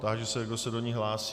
Táži se, kdo se do ní hlásí.